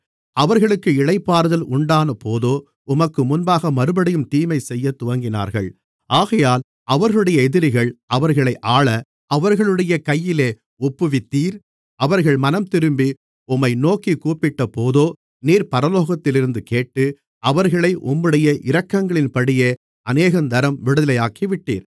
அவர்களுக்கு இளைப்பாறுதல் உண்டானபோதோ உமக்கு முன்பாக மறுபடியும் தீமை செய்யத் துவங்கினார்கள் ஆகையால் அவர்களுடைய எதிரிகள் அவர்களை ஆள அவர்களுடைய கையிலே ஒப்புவித்தீர் அவர்கள் மனந்திரும்பி உம்மை நோக்கிக் கூப்பிட்டபோதோ நீர் பரலோகத்திலிருந்து கேட்டு அவர்களை உம்முடைய இரக்கங்களின்படியே அநேகந்தரம் விடுதலையாக்கிவிட்டீர்